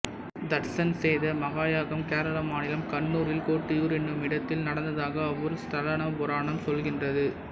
தட்சன் செய்த மகாயாகம் கேரளா மாநிலம் கண்ணூரில் கோட்டியூர் எனும் இடத்தில நடந்ததாக அவ்வூர் ஸ்தலபுராணம் சொல்கின்றது